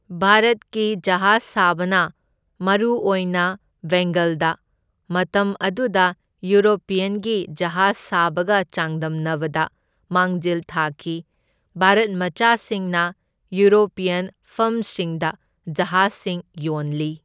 ꯚꯥꯔꯠꯀꯤ ꯖꯍꯥꯖ ꯁꯥꯕꯅ, ꯃꯔꯨꯑꯣꯏꯅ ꯕꯦꯡꯒꯜꯗ, ꯃꯇꯝ ꯑꯗꯨꯗ ꯌꯨꯔꯣꯄꯤꯌꯟꯒꯤ ꯖꯍꯥꯖ ꯁꯥꯕꯒ ꯆꯥꯡꯗꯝꯅꯕꯗ ꯃꯥꯡꯖꯤꯜ ꯊꯥꯈꯤ, ꯚꯥꯔꯠ ꯃꯆꯥꯁꯤꯡꯅ ꯌꯨꯔꯣꯄꯤꯌꯟ ꯐꯔꯝꯁꯤꯡꯗ ꯖꯍꯥꯖꯁꯤꯡ ꯌꯣꯟꯂꯤ꯫